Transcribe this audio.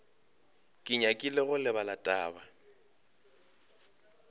ke nyakile go lebala taba